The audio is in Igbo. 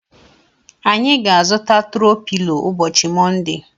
Anyị ga-azuta tro pilo ụbọchị Monde.